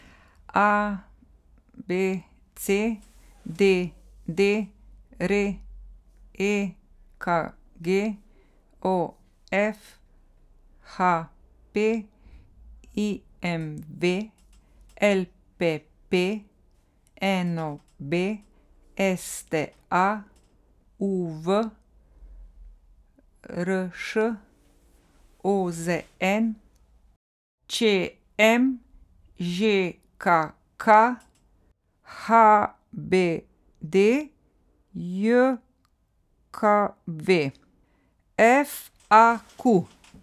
A B C; D D R; E K G; O F; H P; I M V; L P P; N O B; S T A; U V; R Š; O Z N; Č M; Ž K K; H B D J K V; F A Q.